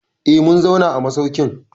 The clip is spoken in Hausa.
Eh, mun zauna a masaukin.